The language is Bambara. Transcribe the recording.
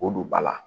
O don ba la